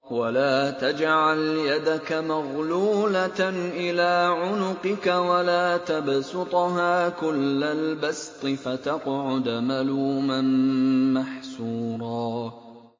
وَلَا تَجْعَلْ يَدَكَ مَغْلُولَةً إِلَىٰ عُنُقِكَ وَلَا تَبْسُطْهَا كُلَّ الْبَسْطِ فَتَقْعُدَ مَلُومًا مَّحْسُورًا